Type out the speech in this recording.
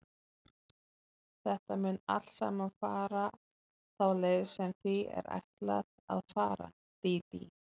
Þetta mun allt saman fara þá leið sem því er ætlað að fara, Dídí.